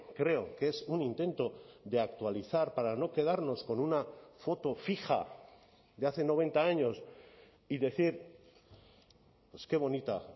creo que es un intento de actualizar para no quedarnos con una foto fija de hace noventa años y decir qué bonita